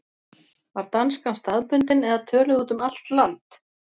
Var danskan staðbundin eða töluð út um allt land?